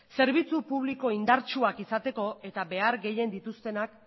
zerbitzu publiko indartsuak izateko eta behar gehien dituztenak